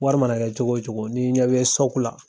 Wari mana kɛ cogo wo cogo n'i ɲɛ bɛ la.